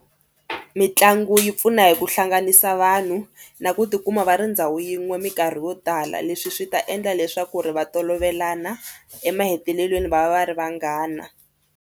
Mitlangu yi pfuna hi ku hlanganisa vanhu na ku tikuma va ri ndhawu yin'we mikarhi yo tala leswi swi ta endla leswaku ri va tolovele fana emahetelelweni va va va ri vanghana.